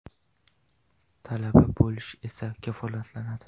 Talaba bo‘lish esa kafolatlanadi.